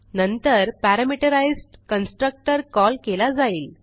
नंतर parameterised constructor call केला जाईल